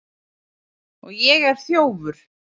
Og ég er þjófur.